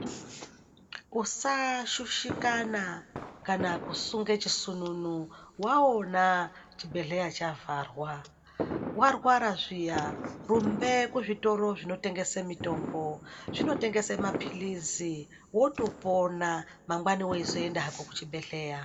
Usashushikana kana kusunge chisununu, waona chibhedhleya chavharwa. Warwara zviya, rumbe kuzvitoro zvinotengese mitombo. Zvinotengese maphilizi, wotopona, mangwani weizoenda hako kuchibhedhleya.